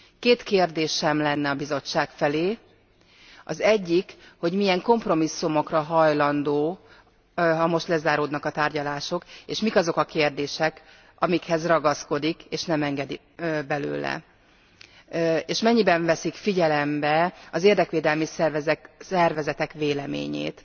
Két kérdésem lenne a Bizottság felé az egyik, hogy milyen kompromisszumokra hajlandó, ha most lezáródnak a tárgyalások, és mik azok a kérdések, amikhez ragaszkodik, és nem enged belőle, és mennyiben veszik figyelembe az érdekvédelmi szervezetek véleményét?